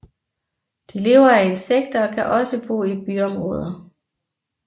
De lever af insekter og kan også bo i byområder